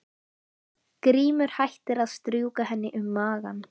Grímur hættir að strjúka henni um magann.